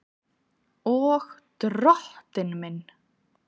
Og Drottinn minn!